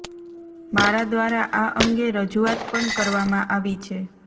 મારા દ્વારા આ અંગે રજૂઆત પણ કરવામાં આવી છે